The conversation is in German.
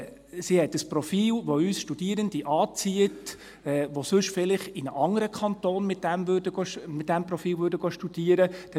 Sie hat ein Profil, die für uns Studierende anzieht, die sonst viel leicht in einem anderen Kanton mit diesem Profil studieren würden.